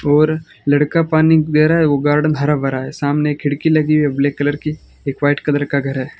और लड़का पानी दे रहा है वो गार्डन हरा भरा है सामने खिड़की लगी है ब्लैक कलर की एक वाइट कलर का घर है।